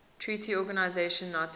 treaty organization nato